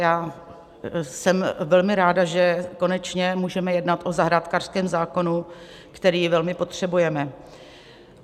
Já jsem velmi ráda, že konečně můžeme jednat o zahrádkářském zákonu, který velmi potřebujeme.